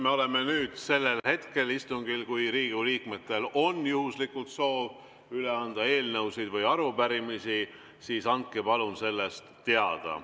Meil on nüüd istungil see hetk, et kui Riigikogu liikmetel on juhuslikult soovi üle anda eelnõusid või arupärimisi, siis andke palun sellest teada.